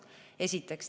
Seda esiteks.